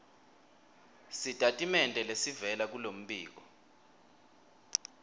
sitatimende lesivela kulombiko